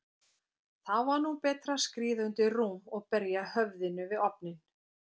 Þá var nú betra að skríða undir rúm og berja höfðinu við ofninn.